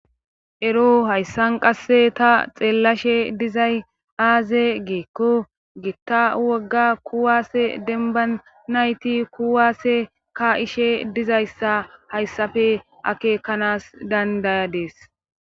Ero hayssan qasse ta xeellashe dizay aaze geekko giitta wogga kuwaase dembba nayti kuwaasse ka ishe dizayssa hayssafe akeekanas dandayadees.